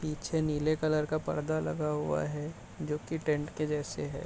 पीछे नीले कलर का पर्दा लगा हुआ है जो की टेंट के जैसे है।